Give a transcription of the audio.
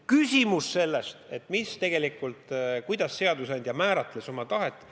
Küsimus, kuidas seadusandja oma tahet määratles.